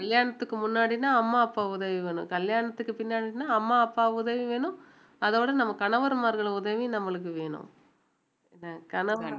கல்யாணத்துக்கு முன்னாடின்னா அம்மா அப்பா உதவி வேணும் கல்யாணத்துக்கு பின்னாடின்னா அம்மா அப்பா உதவி வேணும் அதோட நம்ம கணவர்மார்கள் உதவி நம்மளுக்கு வேணும்